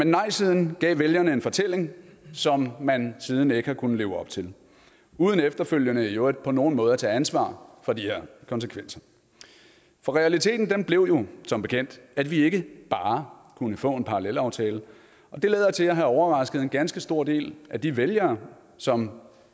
nejsiden gav vælgerne en fortælling som man siden ikke har kunnet leve op til uden efterfølgende øvrigt på nogen måde at tage ansvar for de her konsekvenser for realiteten blev som bekendt at vi ikke bare kunne få en parallelaftale og det lader til at have overrasket en ganske stor del af de vælgere som